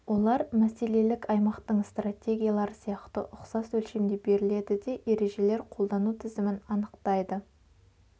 олар мәселелік аймақтын стратегиялары сияқты ұқсас өлшемде беріледі де ережелер қолдану тізімін анықтайды